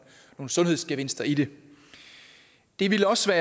sundhedsgevinster i det det ville også